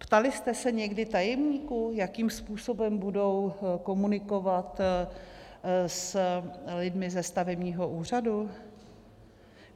Ptali jste se někdy tajemníků, jakým způsobem budou komunikovat s lidmi ze stavebního úřadu?